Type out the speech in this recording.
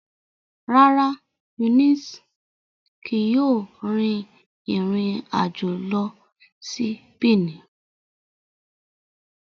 Rara, Eunice kii yoo rin irin ajo lọ si Benin